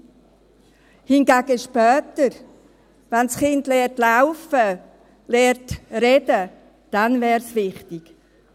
Später hingegen, wenn das Kind laufen lernt, reden lernt, dann wäre es wichtig.